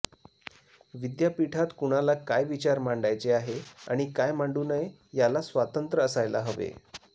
विद्यापीठात कुणाला काय विचार मांडायचे आहे आणि काय मांडू नये याला स्वातंत्र असायला हवे